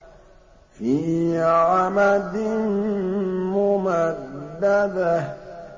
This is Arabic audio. فِي عَمَدٍ مُّمَدَّدَةٍ